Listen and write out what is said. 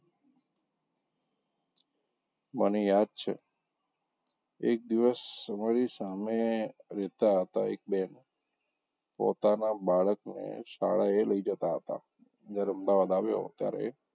મને યાદ છે એક દિવસ અમારી સામે રહેતાં હતાં એક બહેન પોતાનાં બાળકને શાળાએ લઇ જતા હતાં જયારે અમદાવાદ આવ્યો ત્યારે,